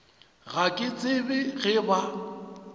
ga ke tsebe ge ba